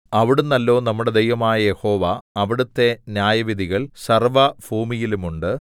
അവിടുന്നല്ലോ നമ്മുടെ ദൈവമായ യഹോവ അവിടുത്തെ ന്യായവിധികൾ സർവ്വഭൂമിയിലുമുണ്ടു